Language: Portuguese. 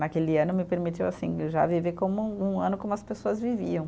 Naquele ano me permitiu, assim, já viver como um ano como as pessoas viviam.